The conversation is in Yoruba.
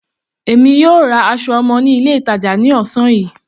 Èmi yóò ra aṣọ ọmọ ní ilé ìtàjà ní ọ̀sán yìí.